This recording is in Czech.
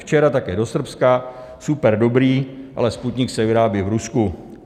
Včera také do Srbska, super dobrý, ale Sputnik se vyrábí v Rusku.